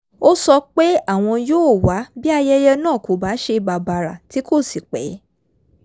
ó sọ pé àwọn yóò wá bí ayẹyẹ náà kò bá ṣe bàbàrà tí kò sì pẹ́